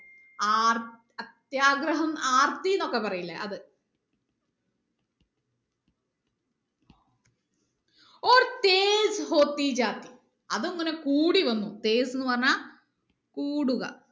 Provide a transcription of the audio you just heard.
R അത്യാഗ്രഹം ആർത്തിനൊക്കെ പറയൂലെ അത് അത് ഇങ്ങനെ കൂടി വന്നു എന്ന് പറഞ്ഞാ കൂടുക